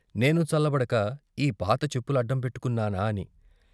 నేనూ చల్లబడక ఈ పాత చెప్పులడ్డం పెట్టుకున్నానా అని.